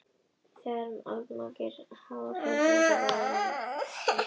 Þegar allmargir háhyrningar voru særðir eða fallnir lét öll háhyrningavaðan undan síga.